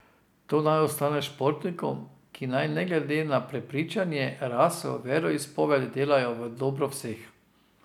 Ta naj ostane športnikom, ki naj ne glede na prepričanje, raso, veroizpoved delajo v dobro vseh.